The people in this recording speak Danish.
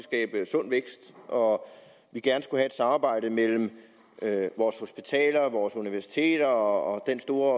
og gerne skulle have et samarbejde mellem vores hospitaler universiteter og den store